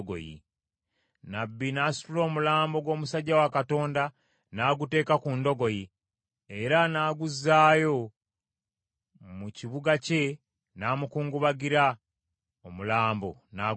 Nnabbi n’asitula omulambo gw’omusajja wa Katonda n’aguteeka ku ndogoyi, era n’aguzzaayo mu kibuga kye n’amukungubagira, omulambo n’aguziika.